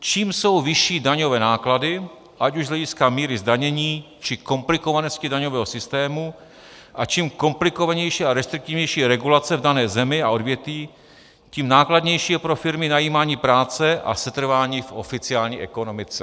Čím jsou vyšší daňové náklady, ať už z hlediska míry zdanění, či komplikovanosti daňového systému, a čím komplikovanější a restriktivnější je regulace v dané zemi a odvětví, tím nákladnější je pro firmy najímání práce a setrvání v oficiální ekonomice.